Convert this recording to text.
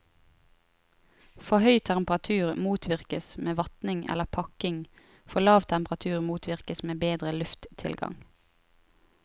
For høy temperatur motvirkes med vatning eller pakking, for lav temperatur motvirkes med bedre lufttilgang.